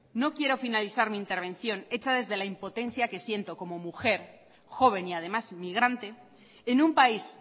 no quiero finalizar mi intervención hecha desde la impotencia que siento como mujer joven y además inmigrante en un país